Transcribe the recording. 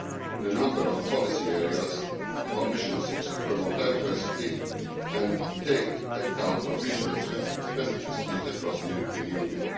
In a number of policy areas the Commission seeks to promote diversity and take account of regional specificities across the European Union.